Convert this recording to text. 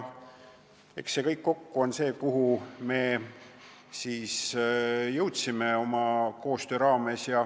Aga kõik kokku ongi see, kuhu me koostöö käigus jõudsime.